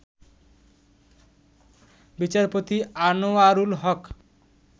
বিচারপতি আনোয়ারুল হক